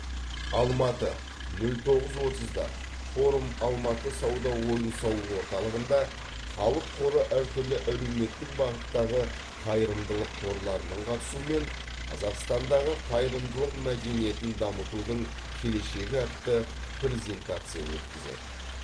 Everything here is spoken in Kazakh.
алматы нөл тоғыз отызда форум алматы сауда ойын сауық орталығында халық қоры әртүрлі әлеуметтік бағыттағы қайырымдылық қорларының қатысуымен қазақстандағы қайырымдылық мәдениетін дамытудың келешегі атты презентация өткізеді